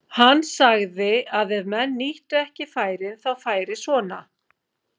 Hann sagði að ef menn nýttu ekki færin þá færi svona.